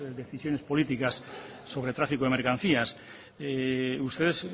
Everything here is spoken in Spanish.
decisiones políticas sobre tráfico de mercancías ustedes